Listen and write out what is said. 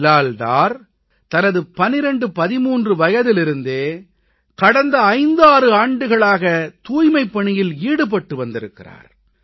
பிலால் டார் தனது 1213 வயதிலிருந்தே கடந்த 56 ஆண்டுகளாக தூய்மைப் பணியில் ஈடுபட்டு வந்திருக்கிறார்